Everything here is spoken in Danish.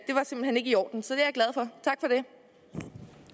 i orden det